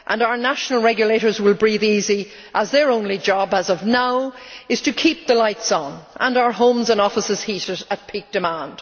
Our national regulators will breathe easy as their only job as of now if to keep the lights on and our homes and offices heated at peak demand.